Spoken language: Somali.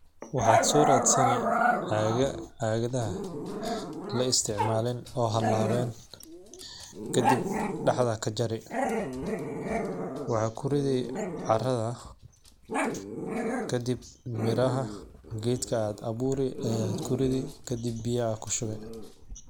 Waxaad soraadeysani caaga-caagada la isticmaalin oo halaawen ka dib dhaxda ka jari. Waa ku riday caradda, ka dib miraha geedka aad abuuri ayaa ku riday ka dib biyaha kushubii.